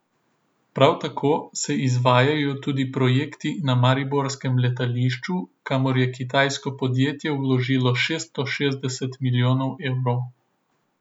Prav tako se izvajajo tudi projekti na mariborskem letališču, kamor je kitajsko podjetje vložilo šeststo šestdeset milijonov evrov.